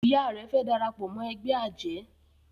Ìyá rẹ fe darapọ̀ mọ ègbé ajé